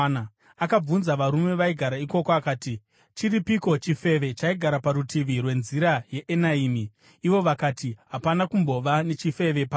Akabvunza varume vaigara ikoko akati, “Chiripiko chifeve chaigara parutivi rwenzira yeEnaimi?” Ivo vakati, “Hapana kumbova nechifeve pano.”